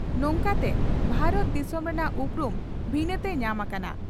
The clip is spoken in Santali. ᱱᱚᱝᱠᱟᱛᱮ ᱵᱷᱟᱨᱚᱛ ᱫᱤᱥᱚᱢ ᱨᱮᱱᱟᱜ ᱩᱯᱨᱩᱢ ᱵᱷᱤᱱᱟᱹᱛᱮ ᱧᱟᱢ ᱟᱠᱟᱱᱟ ᱾